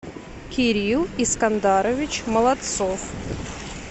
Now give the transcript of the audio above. кирилл искандарович молодцов